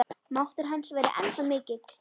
Máttur hans væri ennþá mikill.